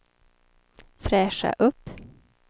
fräscha upp